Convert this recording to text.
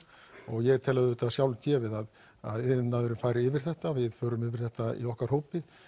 og ég tel auðvitað sjálfgefið að að iðnaðurinn fari yfir þetta við förum yfir þetta í okkar hópi